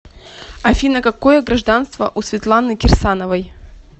афина какое гражданство у светланы кирсановой